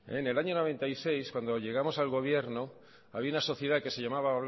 en el año mil novecientos noventa y seis cuando llegamos al gobierno había una sociedad que se llamaba